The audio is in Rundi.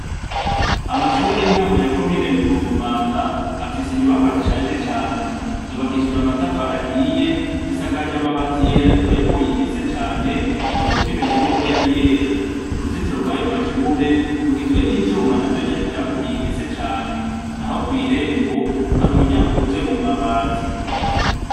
Amashure y'intango ya komine Mugongomanga afise inyubakwa zishaje cane, zubakishije amatafari ahiye zisakaje amabati yera ariko yaguye ingese cane utoba ukimenya n'uko yari yera, uruzitiro rw'ayo mashure rugizwe n'ivyuma navyo nyene vyaguye ingese cane naho kw'irembo hari umuryango ukozwe mu mabati.